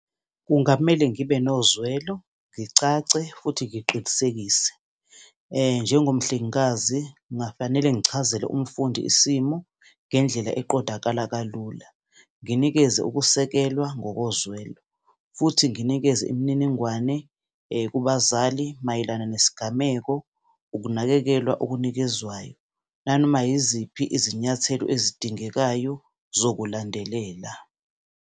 Kungamele ngibe nozwelo, ngicace, futhi ngiqinisekise. Njengomhlengekazi, ngingafanele ngichazele umfundi isimo ngendlela eqondakala kalula, nginikeze ukusekela ngokozwelo futhi nginikeze imininingwane kubazali mayelana nesigameko, ukunakekelwa okunikezwayo, nanoma yiziphi izinyathelo ezidingekayo zokulandelela.